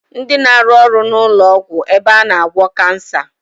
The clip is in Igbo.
Ndi na-aru ọrụ n'ụlọ ọgwụ ebe a na agwọ Kansa